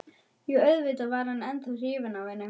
Jú, auðvitað var hann ennþá hrifinn af henni.